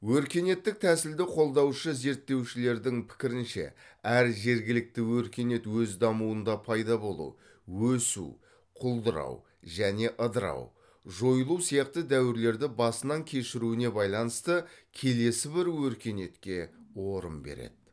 өркениеттік тәсілді қолдаушы зерттеушілердің пікірінше әр жергілікті өркениет өз дамуында пайда болу өсу құлдырау және ыдырау жойылу сияқты дәуірлерді басынан кешіруіне байланысты келесі бір өркениетке орын береді